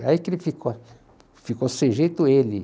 Aí que ele ficou, ficou sem jeito ele.